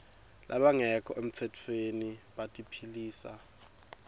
labangekho emtsetfweni batiphilisa